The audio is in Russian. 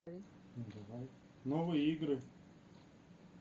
новые игры